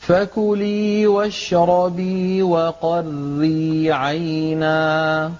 فَكُلِي وَاشْرَبِي وَقَرِّي عَيْنًا ۖ